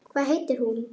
Hvað heitir hún?